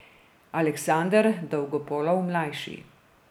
Aleksander Dolgopolov ml.